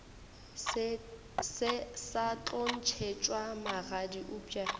sa tlo ntšhetšwa magadi eupša